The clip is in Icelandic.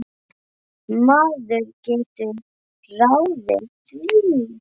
Maður getur ráðið því.